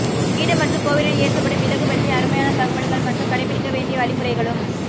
வீடு மற்றும் கோவிலில் ஏற்றப்படும் விளக்கு பற்றிய அருமையான தகவல்கள் மற்றும் கடைபிடிக்க வேண்டிய வழிமுறைகளும்